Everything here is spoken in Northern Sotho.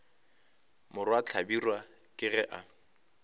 morwa hlabirwa ke ge a